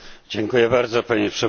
Panie Przewodniczący!